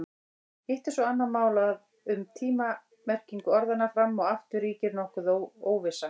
Hitt er svo annað mál að um tíma-merkingu orðanna fram og aftur ríkir nokkur óvissa.